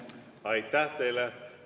Aitäh teile!